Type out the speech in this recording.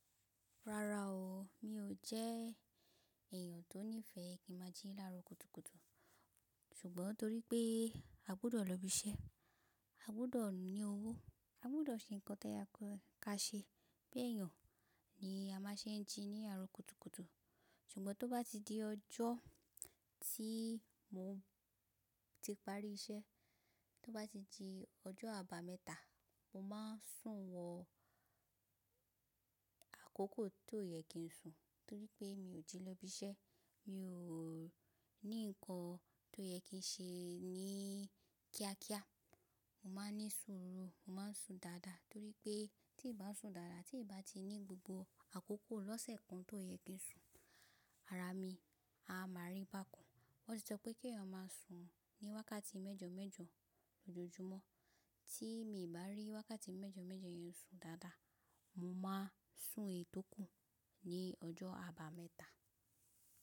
Rárá o, mi ò jẹ́ èèyàn tó nífẹ̀ẹ́ kí ma jí lára kùtùkùtù. Ṣùgbọ́n torí pé a gbọ́dọ̀ lọ ibi iṣẹ́, a gbọ́dọ̀ ní owó, a gbọ́dọ̀ ṣe ǹkan tẹ́ ya ká ṣe pé èèyàn ni a má ṣe ń jí ní àárọ̀ kùtùkùtù. Ṣùgbọ́n tó bá ti di ọjọ́ tí mò ń ti parí iṣẹ́, tó bá ti di ọjọ́ àbámẹ́ta, mo má ń sùn wọ àkókò tó yẹ kí n sùn, torí pé mi ò tí lọ ibi iṣẹ́, mi ò ní ǹkan tó yẹ kí n ṣe ní kíákíá. Mo má ń ní sùnú, mo má ń sùn dáadáa, torí pé tí ì bá ń sùn dáadáa, tí ì bá ti ní gbogbo àkókò lọ́sẹ̀ kan tó yẹ kí n sùn, ara mi a má rí bákan. Wọ́n ti sọ pé kí èèyàn má sùn ní wákàtí mẹ́jọmẹ́jọ lójoojúmọ́. Tí mi ò bá rí wákàtí mẹ́jọmẹ́jọ yẹn sùn dáadáa, mo má sùn ètókù ní ọjọ́ àbámẹ́ta.